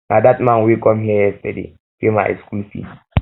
na dat man wey come here yesterday pay my school fees